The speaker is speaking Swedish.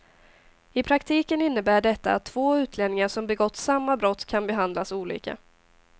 I praktiken innebär detta att två utlänningar som begått samma brott kan behandlas olika.